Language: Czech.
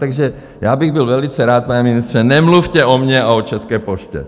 Takže já bych byl velice rád, pane ministře, nemluvte o mě a o České poště.